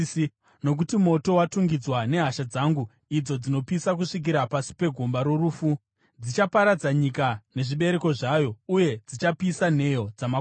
Nokuti moto watungidzwa nehasha dzangu, idzo dzinopisa kusvikira pasi pegomba rorufu. Dzichaparadza nyika nezvibereko zvayo uye dzichapisa nheyo dzamakomo.